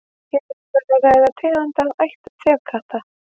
hér er um að ræða tegund af ætt þefkatta